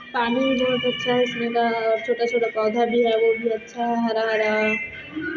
पानी बहुत अच्छा है इसमे का छोटा- छोटा पौधा भी है अच्छा है हरा -हरा--